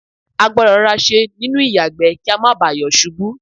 a gbọ́dọ̀ rọra ṣe nínú ìyàgbẹ́ kí a má bà yọ̀ ṣubú.